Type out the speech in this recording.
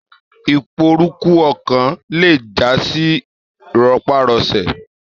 Iporúrú ọkan lè jasi rọpárọsẹ̀.